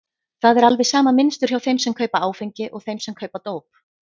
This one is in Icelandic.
Það er alveg sama mynstur hjá þeim sem kaupa áfengi og þeim sem kaupa dóp.